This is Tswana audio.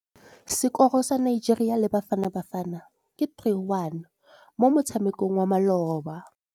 Sekôrô sa Nigeria le Bafanabafana ke 3-1 mo motshamekong wa malôba.